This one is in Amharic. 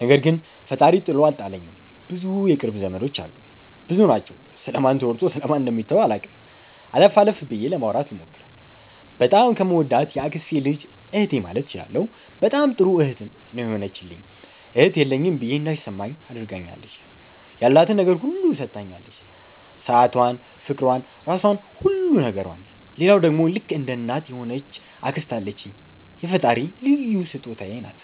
ነገር ግን ፈጣሪ ጥሎ አልጣለኝም ብዙ የቅርብ ዘመዶች አሉኝ። ብዙ ናቸው ስለ ማን ተወርቶ ስለ ማን ደሚተው አላቅም። አለፍ አለፍ ብዬ ለማውራት ልሞክር። በጣም ከምወዳት የአክስቴ ልጅ እህቴ ማለት እችላለሁ በጣም ጥሩ እህት ነው የሆነችልኝ እህት የለኝም ብዬ እንዳይማኝ አድርጋኛለች። ያላትን ነገር ሁሉ ሠታኛለች ሠአቷን ፍቅሯን ራሧን ሁሉ ነገሯን። ሌላዋ ደሞ ልክ እንደ እናት የሆነች አክስት አለችኝ የፈጣሪ ልዩ ሥጦታዬ ናት።